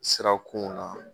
Sirakun na